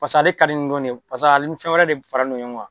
Pas'ale ka di ni dɔn nin ye, pasa al ni fɛn wɛrɛ de fara n do ɲɔɔ ŋa.